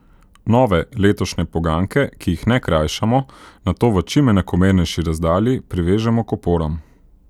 Nove, letošnje poganjke, ki jih ne krajšamo, nato v čim enakomernejši razdalji privežemo k oporam.